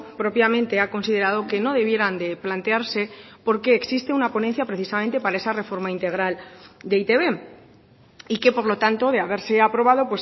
propiamente ha considerado que no debieran de plantearse porque existe una ponencia precisamente para esa reforma integral de e i te be y que por lo tanto de haberse aprobado